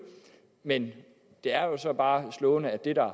men det er jo så bare slående at